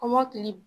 Kɔmɔkili